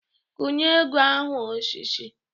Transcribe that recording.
Kwunye ego ahụ ọsịsọ!